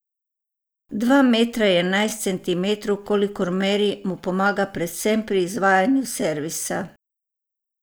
Dva metra in enajst centimetrov, kolikor meri, mu pomaga predvsem pri izvajanju servisa.